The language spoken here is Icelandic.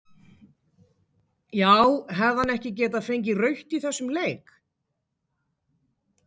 Já hefði hann ekki getað fengið rautt í þessum leik?